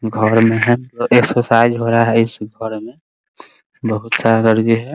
घर में है और एकसरसाइज हो रहा है इस घर मे बहुत सारा लड़की है ।